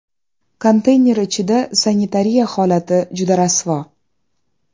Konteyner ichida sanitariya holati juda rasvo.